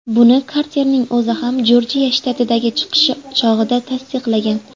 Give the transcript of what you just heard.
Buni Karterning o‘zi ham Jorjiya shtatidagi chiqishi chog‘ida tasdiqlagan.